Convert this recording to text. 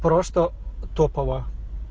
просто топово